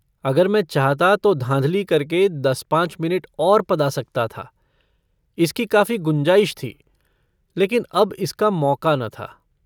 अगर मैं चाहता तो धाँधली करके दसपाँच मिनट और पदा सकता था इसकी काफी गुंजाइश थी लेकिन अब इसका मौका न था।